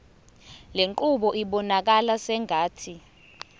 lenqubo ibonakala sengathi